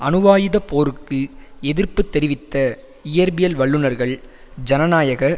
அணுவாயுத போருக்கு எதிர்ப்பு தெரிவித்த இயற்பியல் வல்லுனர்கள் ஜனநாயக